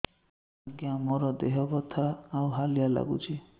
ଆଜ୍ଞା ମୋର ଦେହ ବଥା ଆଉ ହାଲିଆ ଲାଗୁଚି